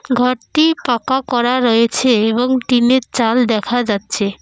ঘরটি পাকা করা রয়েছে এবং টিন -এর চাল দেখা যাচ্ছে।